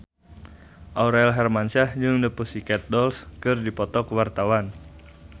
Aurel Hermansyah jeung The Pussycat Dolls keur dipoto ku wartawan